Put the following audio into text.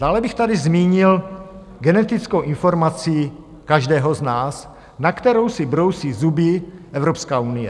Dále bych tady zmínil genetickou informací každého z nás, na kterou si brousí zuby Evropská unie.